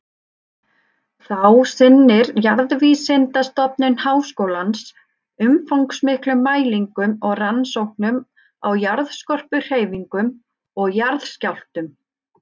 Þá sinnir Jarðvísindastofnun Háskólans umfangsmiklum mælingum og rannsóknum á jarðskorpuhreyfingum og jarðskjálftum.